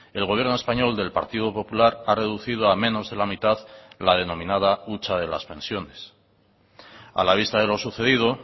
el gobierno español del partido popular ha reducido a menos de la mitad la denominada hucha de las pensiones a la vista de lo sucedido